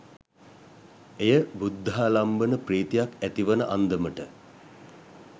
එය බුද්ධාලම්බන ප්‍රීතියක් ඇතිවන අන්දමට